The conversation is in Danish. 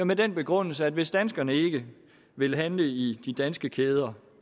med den begrundelse at hvis danskerne ikke vil handle i de danske kæder